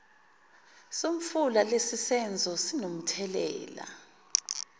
somfula lesisenzo sinomthelela